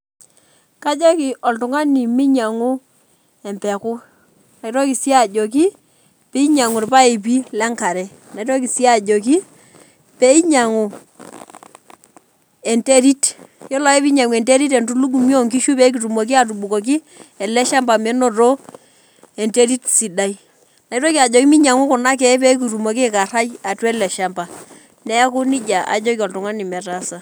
Kajoki oltungani minyangu empeku naitoki si ajoki minyangu irpaipi lenkare naitoki si ajoki pinyangu enterit entulugumi onkishu pekitumoki atubukoki eleshamba minoto enterit sidai naitoki ajoki minyangu rkiek pekitumoki aikarai atua eleshamba neaku nejia ajoki oltungani metaasa.